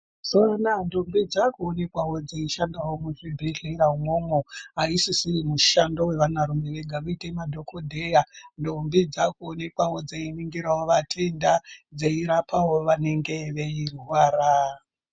Mazuva anawa ndombi dzaakuonekwawo dzeishanda muzvibhedhlera umwomwo. Ayisisiri mushando wevanarume vega, kuita madhokodheya. Ndombi dzaakuonekwawo dzeiningirawo vatenda, dzeirapawo vanenge veirwara .